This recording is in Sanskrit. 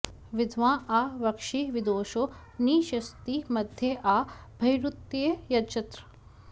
वि॒द्वाँ आ व॑क्षि वि॒दुषो॒ नि ष॑त्सि॒ मध्य॒ आ ब॒र्हिरू॒तये॑ यजत्र